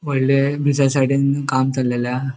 होडले ब्रिजा साइडीन काम चल्ले हा.